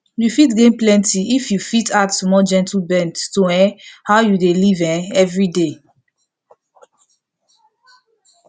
you fit gain plenty if you fit add small gentle bend to um how you dey live um every day